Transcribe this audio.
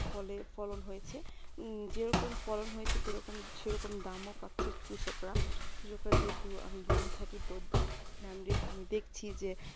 ফলের ফলন হয়েছে উম যেরকম ফলন হয়েছে সেরকম সেরকম দামও পাচ্ছে কৃষকরা যেহেতু যেহেতু আমি গ্রামে থাকি তো আমি আমি দেখছি যে